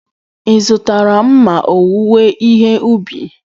Ị zụtara mma owuwe ihe ubi?